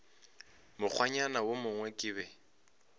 mokgwanyana wo mongwe ke be